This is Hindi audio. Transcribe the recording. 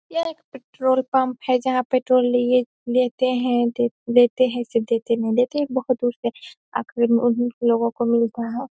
यह एक पेट्रोल पम्प है जहाँ पेट्रोल लिए लेते हैं दे देते हैं ऐसे देते नहीं हैं बहुत दूर आखरी मे उन्ही लोगों को मिलता है |